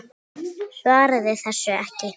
Svaraði þessu ekki.